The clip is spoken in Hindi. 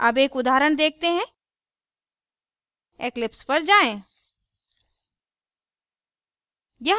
अब एक उदाहरण देखते हैं eclipse पर जाएँ